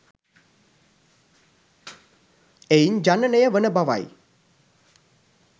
එයින් ජනනය වන බවයි.